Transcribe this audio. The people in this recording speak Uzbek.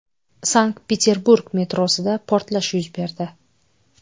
Sankt-Peterburg metrosida portlash yuz berdi.